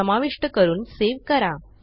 समाविष्ट करून सेव्ह करा